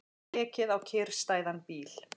Ekið á kyrrstæðan bíl